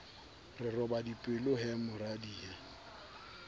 re roba dipelo he moradia